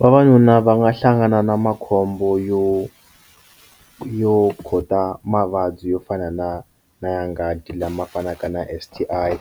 Vavanuna va nga hlangana na makhombo yo yo kota mavabyi yo fana na na ya nghati lama fanaka na S_T_I